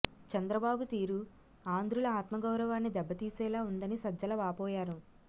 చంద్రబాబు తీరు ఆంధ్రుల ఆత్మగౌరవాన్ని దెబ్బతీసేలా ఉందని సజ్జల వాపోయారు